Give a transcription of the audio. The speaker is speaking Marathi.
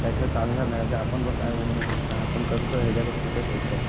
त्याशिवाय चालणार नाही जे आपण बघ काय बोलणं आपण करतोय यांच्याकडे कुठे पैसे आहेत?